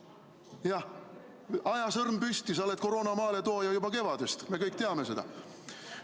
Jah, aja sõrm püsti, sa oled koroona maaletooja juba kevadest, me kõik teame seda.